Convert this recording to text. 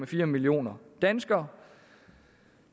fire millioner danskere